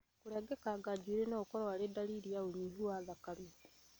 Kũrengekanga njuĩri nogũkorwo arĩ ndariri ya ũnyihu wa vitameni